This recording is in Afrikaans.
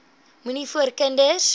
moenie voor kinders